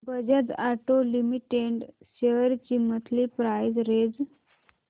Bajaj auto limited shares ची monthly price range